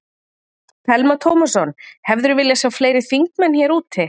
Telma Tómasson: Hefðirðu viljað sjá fleiri þingmenn hér úti?